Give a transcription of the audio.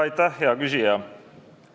Aitäh, hea küsija!